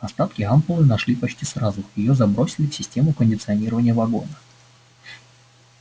остатки ампулы нашли почти сразу её забросили в систему кондиционирования вагона